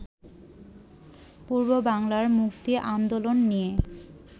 পূর্ববাংলার মুক্তি আন্দোলন নিয়ে